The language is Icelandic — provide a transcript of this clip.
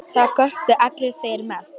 Það göptu allir, þeir mest.